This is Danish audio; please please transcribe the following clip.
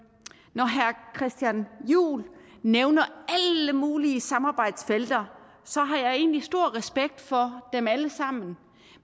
når herre christian juhl nævner alle mulige samarbejdsfelter så har jeg egentlig stor respekt for dem alle sammen